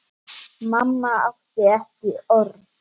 Mamma átti ekki orð.